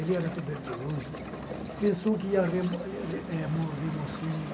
Ele era tuberculoso, pensou que ia, eh, morrer mocinho.